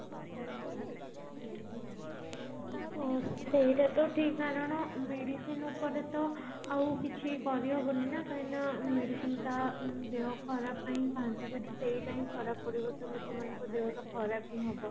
ହଁ ସେଇଟା ତ ଠିକ କାରଣ medicine ଉପରେ ତ ଆଉ କିଛି କରିହବନି ନା କାହିଁକି ନା medicine ଟା ଦେହ ଖରବ ପାଇଁ ଖାଆନ୍ତି ଯଦି ସେଇଟା ହି ଖରାପ ପଡିବ ତ ଲୋକମାନଙ୍କର ଦେହ ଖରାପ ତ ହବ